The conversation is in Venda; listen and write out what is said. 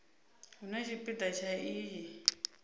hu na tshipida tsha iyi